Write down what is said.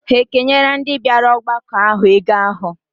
Ha ekenyela ndị bịara ọgbakọ ahụ ego ahụ?